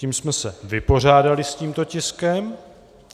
Tím jsme se vypořádali s tímto tiskem.